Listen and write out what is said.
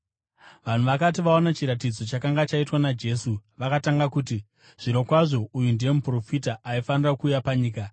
Vanhu vakati vaona chiratidzo chakanga chaitwa naJesu, vakatanga kuti, “Zvirokwazvo uyu ndiye muprofita aifanira kuuya panyika.”